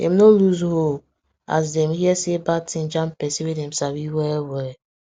dem no lose hope as dem hear say bad thing jam person wey dem sabi well well